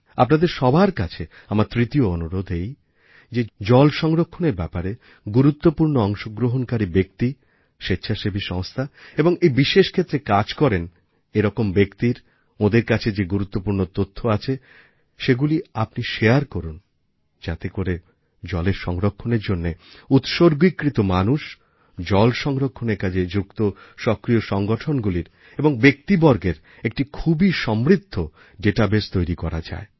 আপনাদের সবার কাছে আমার তৃতীয় অনুরোধ এই যে জল সংরক্ষণের ব্যাপারে গুরুত্বপূর্ণ অংশগ্রহণকারী ব্যক্তি স্বেচ্ছাসেবী সংস্থা এবং এই বিশেষ ক্ষেত্রে কাজ করেন এরকম ব্যক্তির ওঁদের কাছে যে সমস্ত গুরুত্বপূর্ণ তথ্য আছে সেগুলি আপনি শারে করুন যাতে করে জলের সংরক্ষণের জন্য উৎসর্গীকৃত মানুষ জল সংরক্ষণের কাজে যুক্ত সক্রিয় সংগঠনগুলির এবং ব্যক্তিবর্গের একটি খুবই সমৃদ্ধ ডেটাবেস তৈরি করা যায়